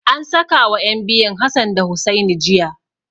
An sakawa ƴan biyun Hassan da Hussaini jiya.